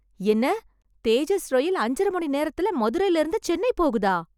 என்ன, தேஜஸ் ரயில் அஞ்சரை மணி நேரத்துல மதுரைல இருந்து சென்னை போகுதா?